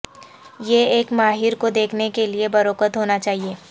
یہ ایک ماہر کو دیکھنے کے لئے بروقت ہونا چاہئے